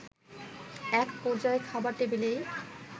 একপর্যায়ে খাবার টেবিলেই